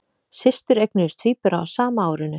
Systur eignuðust tvíbura á sama árinu